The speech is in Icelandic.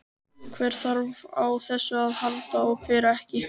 Hver þarf á þessu að halda og hver ekki?